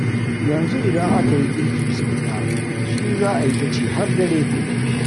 Yanzu idan aka yi girki sau ɗaya, shi za a yi ta ci har dare.